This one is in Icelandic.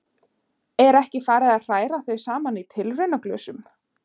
Er ekki farið að hræra þau saman í tilraunaglösum.